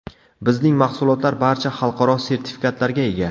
Bizning mahsulotlar barcha xalqaro sertifikatlarga ega.